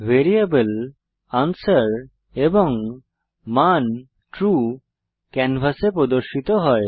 variable answer এবং মান true ক্যানভাসে প্রদর্শিত হয়